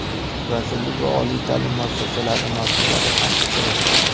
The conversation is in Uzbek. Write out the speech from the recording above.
vazirlik va oliy taʼlim muassasalari masʼullari ham ishtirok etdi.